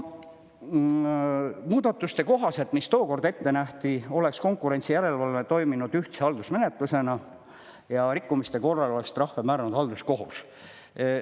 Muudatuste kohaselt, mis tookord ette nähti, oleks konkurentsijärelevalve toiminud ühtse haldusmenetlusena ja rikkumiste korral oleks trahve määranud halduskohus.